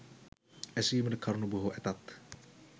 ඇසීමට කරුණු බොහෝ ඇතත්